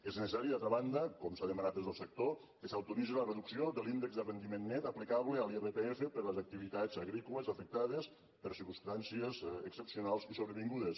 és necessari d’altra banda com s’ha demanat des del sector que s’autoritzi la reducció de l’índex de rendiment net aplicable a l’irpf per a les activitats agrícoles afectades per circumstàncies excepcionals i sobrevingudes